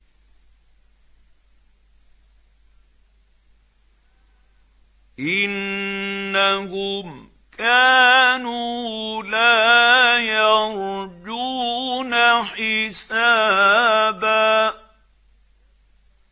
إِنَّهُمْ كَانُوا لَا يَرْجُونَ حِسَابًا